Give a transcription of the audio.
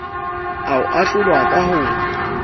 a ho ahlola ka ho